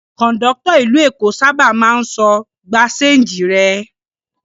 Kọ̀ńdọ́tọ̀ ìlú Èkó sábà máa ń sọ "gba ṣéńjì rẹ".